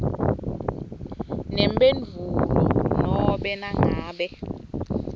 nemphendvulo nobe nangabe